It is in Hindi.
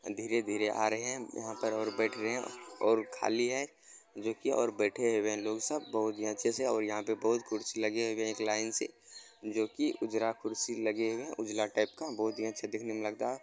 धीरे-धीरे आ रहे हैं यहाँ पर और बेठे हुए हैं और खाली है जो कि और बेठे हुए हैं लोग सब बहोत ही अच्छे से और यहाँ पे बहोत कुर्सी लगे हुए हैं एक लाइन से जो कि उजरा कुर्सी लगी हुई है उजला टाइप का बहोत ही अच्छा देखने में लगता --